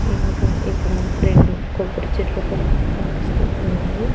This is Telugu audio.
ఇంకా ఇక్కడ రెండు కొబ్బరి చెట్లు కూడా కనిపిస్తూ ఉన్నాయి.